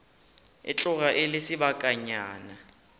e tloga e le sebakanyana